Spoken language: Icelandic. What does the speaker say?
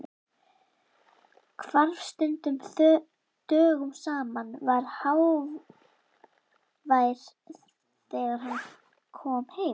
Hvarf stundum dögum saman, var hávær þegar hann kom heim.